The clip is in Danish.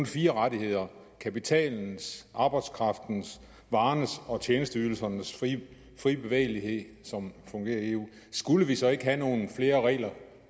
fire rettigheder kapitalens arbejdskraftens varernes og tjenesteydelsernes frie frie bevægelighed som fungerer i eu skulle vi så ikke have nogle flere regler